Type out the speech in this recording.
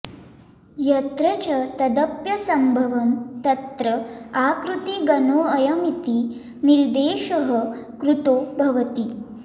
यत्र च तदप्यसम्भवं तत्र आकृतिगणोऽयमिति निर्देशः कृतो भवति